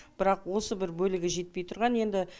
бірақ осы бір бөлігі жетпей тұрған енді